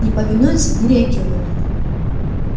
не повинуются не реагируют